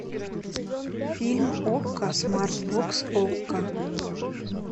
фильм окко смартбокс окко